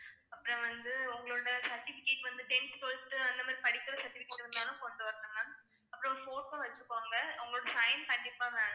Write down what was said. அப்புறம் வந்து உங்களோட certificate வந்து tenth, twelfth அந்த மாதிரி படிக்கிற certificate இருந்தாலும் கொண்டு வரணும் ma'am அப்புறம் photo வச்சுக்கோங்க உங்களோட sign கண்டிப்பா வேணும்